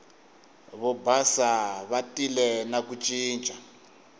vobasa va tile na ku ncinca